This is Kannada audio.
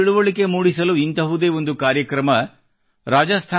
ರೈತರಲ್ಲಿ ತಿಳುವಳಿಕೆ ಮೂಡಿಸಲು ಇಂತಹುದೇ ಒಂದು ಕಾರ್ಯಕ್ರಮ ಮಾಡಲಾಗುತ್ತಿದೆ